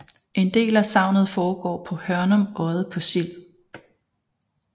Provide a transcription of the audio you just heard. En del af sagnet foregår på Hørnum Odde på Sild